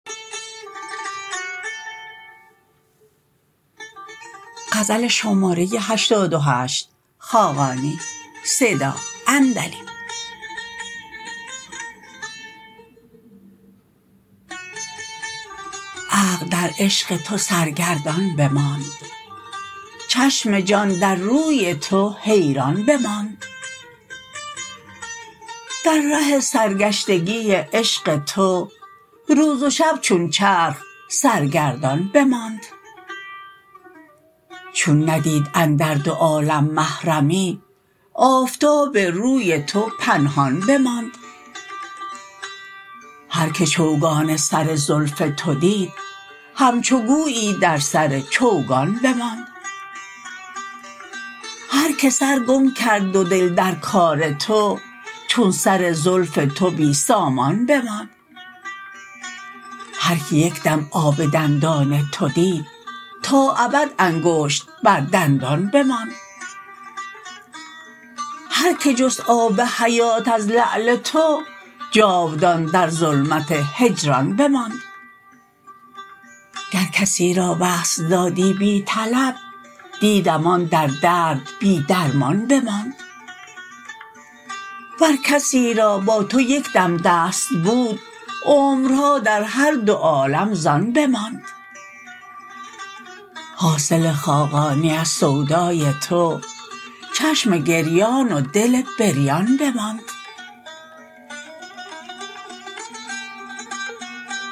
عقل در عشق تو سرگردان بماند چشم جان در روی تو حیران بماند در ره سرگشتگی عشق تو روز و شب چون چرخ سرگردان بماند چون ندید اندر دو عالم محرمی آفتاب روی تو پنهان بماند هرکه چوگان سر زلف تو دید همچو گویی در سر چوگان بماند هر که سر گم کرد و دل در کار تو چون سر زلف تو بی سامان بماند هرکه یک دم آب دندان تو دید تا ابد انگشت بر دندان بماند هرکه جست آب حیات از لعل تو جاودان در ظلمت هجران بماند گر کسی را وصل دادی بی طلب دیدم آن در درد بی درمان بماند ور کسی را با تو یکدم دست بود عمرها در هر دو عالم زان بماند حاصل خاقانی از سودای تو چشم گریان و دل بریان بماند